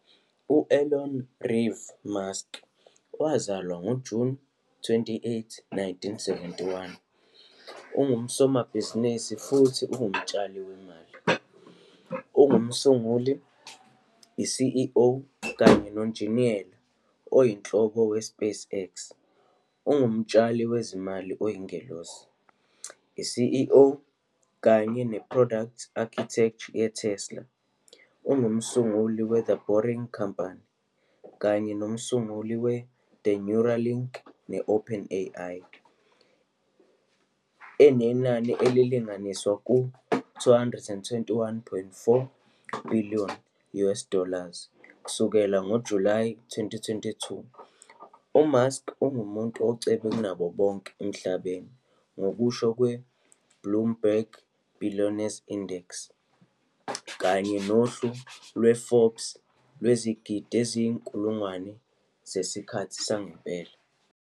U-Elon Reeve Musk FRS, wazalwa ngoJuni 28, 1971, ungusomabhizinisi futhi ungumtshali wemali. Ungumsunguli, i-CEO, kanye noNjiniyela Oyinhloko we-SpaceX, umtshali wezimali oyingelosi, i- CEO, kanye ne-Producte Architect ye-Tesla, Inc. umsunguli we-The Boring Company, kanye nomsunguli we ne-Neuralink ne-OpenAI. Enenani elilinganiselwa ku-US 221.4 billion US dollars kusukela ngoJulayi 2022, uMusk ungumuntu ocebe kunabo bonke emhlabeni ngokusho kwe-Bloomberg Billionaires Index kanye nohlu lwe-Forbes lwezigidi eziyizinkulungwane zesikhathi sangempela.